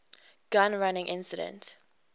gun running incident